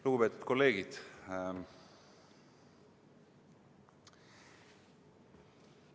Lugupeetud kolleegid!